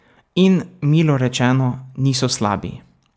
In, milo rečeno, niso slabi.